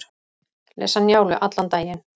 Lesa Njálu allan daginn